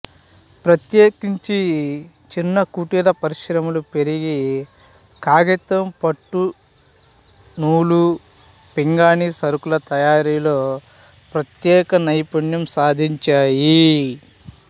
ప్రత్యేకించి చిన్నకుటీర పరిశ్రమలు పెరిగి కాగితం పట్టు నూలు పింగాణీ సరకుల తయారీలో ప్రత్యేక నైపుణ్యం సాధించాయి